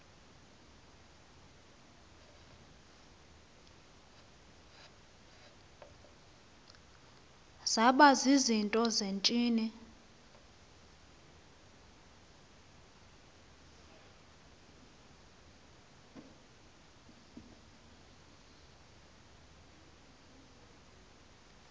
zaba zizinto zentsini